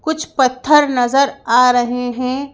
कुछ पत्थर नजर आ रहे हैं।